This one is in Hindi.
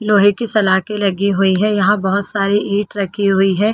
लोहै की सलाके लगी हुई है यहाँ बहुत सारी ईट रखी हुई है।